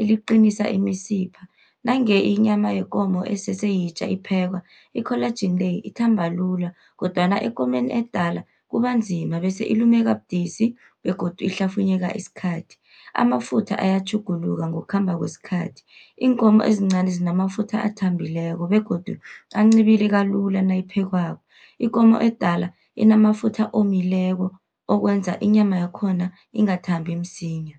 eliqinisa imisipha. Nange inyama yekomo esese yitja iphekwa, i-collagen le ithamba lula, kodwana ekomeni edala kubanzima bese ilumeka budisi begodu ihlafunyeka isikhathi. Amafutha ayatjhuguluka ngokukhamba kwesikhathi, iinkomo ezincani zinamafutha athambileko begodu ancibilika lula nayiphekwako. Ikomo edala inamafutha omileko, okwenza inyama yakhona ingathambi msinya.